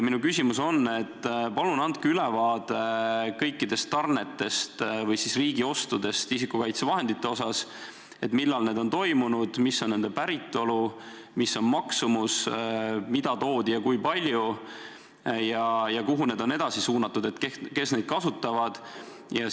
Palun andke ülevaade kõikidest tarnetest või riigi ostudest isikukaitsevahendite puhul – millal on need toimunud, mis on nende päritolu, mis on maksumus, mida toodi, kui palju ja kuhu need on edasi suunatud ning kes neid kasutavad!